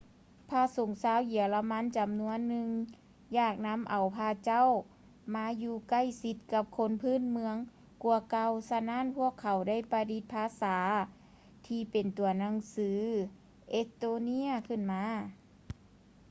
ພະສົງຊາວເຢຍລະມັນຈຳນວນໜຶ່ງ ຢາກນຳເອົາພະເຈົ້າມາຢູ່ໃກ້ຊິດກັບຄົນພື້ນເມືອງກ່ວາເກົ່າ ສະນັ້ນ ພວກເຂົາໄດ້ປະດິດພາສາທີ່ເປັນຕົວໜັງສື ເອສ໌ໂຕເນຍ ຂຶ້ນມາ